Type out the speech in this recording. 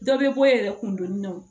Dɔ bɛ bɔ e yɛrɛ kun dɔnni na wo